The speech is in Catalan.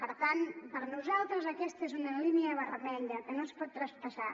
per tant per nosaltres aquesta és una línia vermella que no es pot traspassar